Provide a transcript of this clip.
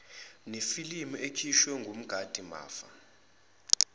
nemibiko ekhishwe wumgadimafa